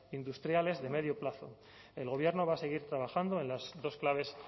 industriales de medio plazo el gobierno va a seguir trabajando en las dos claves